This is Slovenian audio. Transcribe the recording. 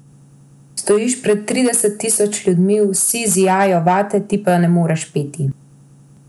Stojiš pred trideset tisoč ljudmi, vsi zijajo vate, ti pa ne moreš peti.